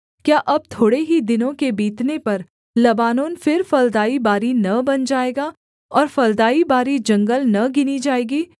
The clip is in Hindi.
क्या अब थोड़े ही दिनों के बीतने पर लबानोन फिर फलदाई बारी न बन जाएगा और फलदाई बारी जंगल न गिनी जाएगी